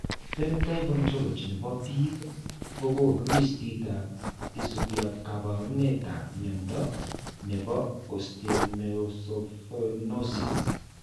Phenotype Ontology ne po biik ko konu listiit ne isubiap kaabarunetap mnyando ne po Osteomesopyknosis.